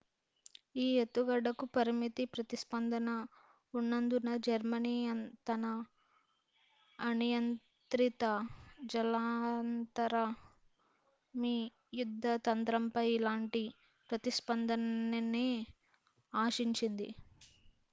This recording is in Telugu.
ఈ ఎత్తుగడకు పరిమిత ప్రతిస్పందన ఉన్నందున జర్మనీ తన అనియంత్రిత జలాంతర్గామి యుద్ధ తంత్రంపై ఇలాంటి ప్రతిస్పందననే ఆశించింది